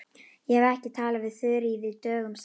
Ég hef ekki talað við Þuríði dögum saman.